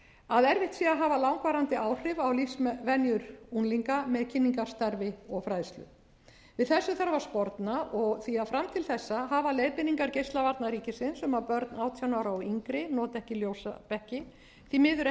að erfitt sé að hafa langvarandi áhrif á lífsvenjur unglinga með kynningarstarfi og fræðslu við þessu þarf að sporna því fram til þessa hafa leiðbeiningar geislavarna ríkisins um að börn átján ára og yngri noti ekki ljósabekki því miður